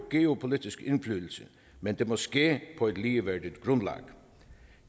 geopolitisk indflydelse men det må ske på et ligeværdigt grundlag